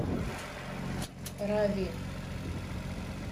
рави